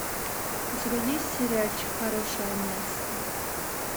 у тебя есть сериальчик хорошее место